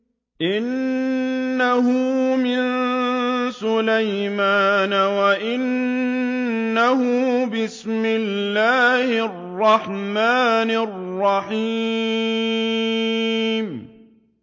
إِنَّهُ مِن سُلَيْمَانَ وَإِنَّهُ بِسْمِ اللَّهِ الرَّحْمَٰنِ الرَّحِيمِ